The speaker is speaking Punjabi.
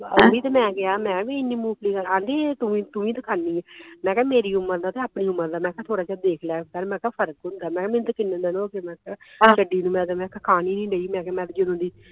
ਓਹੀ ਤੇ ਮੈਂ ਕਿਹਾ ਮੈਂ ਵੀ ਇੰਨੀ ਮੂੰਗਫਲੀ ਖਾਣੀ ਆ ਤੂੰ ਤੂੰ ਵੀ ਤੇ ਖਾਣੀ ਐ ਮੈਂ ਕਿਹਾ ਮੇਰੀ ਉਮਰ ਦਾ ਤੇ ਆਪਣੀ ਉਮਰ ਦਾ ਮੈਂ ਕਿਹਾ ਥੋੜਾ ਜਿਹਾ ਦੇਖ ਲਿਆ ਕਰ ਮੈਂ ਕਿਹਾ ਫਰਕ ਹੁੰਦੇ ਮੈਂ ਕਿਹਾ ਮੈਨੂੰ ਤੇ ਕਿੰਨੇ ਦਿਨ ਹੋ ਗਏ ਮੈਂ ਕਿਹੇ ਛਡਿ ਨੂੰ ਤੇ ਮੈਂ ਤਾਂ ਖਾਣ ਹੀ ਨਹੀਂ ਢਈ ਮੈਂ ਤੇ ਜਰੂਰੀ